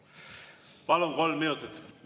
Palun, kolm minutit!